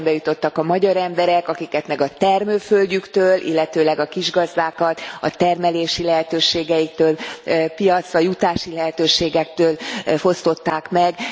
Eszembe jutottak a magyar emberek, akiket meg a termőföldjüktől, illetőleg a kisgazdákat a termelési lehetőségeiktől, piacra jutási lehetőségektől fosztották meg.